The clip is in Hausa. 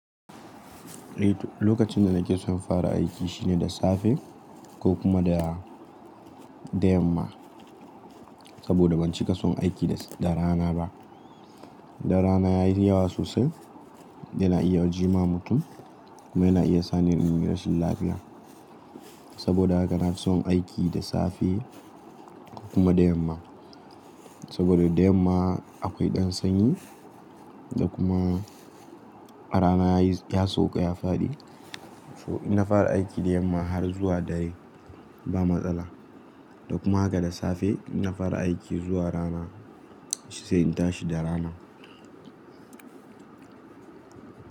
Eh to, lokacin da nake son fara aiki shine da safe ko kuma da, da yamma. Saboda ban cika son aiki da rana ba. Da rana ya yi yawa sosai, yana iya jimawa mutum kuma yana iya sani irin rashin lafiya. Saboda haka na fi son aiki da safe ko kuma da yamma. Saboda da yamma akwai ɗan sanyi da kuma a rana ya sauka ya faɗi. To idan na fara aiki da yamma har zuwa dare to ba matsala da kuma haka da safe in na fara aiki zuwa rana sai in tashi da rana.